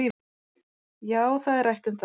Já, það er rætt um það